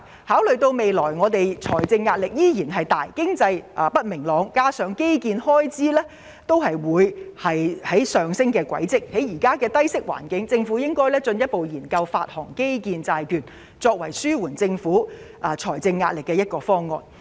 考慮到政府未來仍有巨大財政壓力，經濟亦不明朗，加上基建開支將會上升，政府應進一步研究在目前的低息環境下發行基建債券，以此作為紓緩政府財政壓力的方案之一。